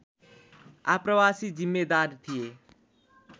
आप्रवासी जिम्मेदार थिए